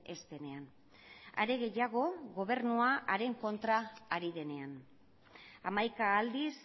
ez denean are gehiago gobernua haren kontra ari denean hamaika aldiz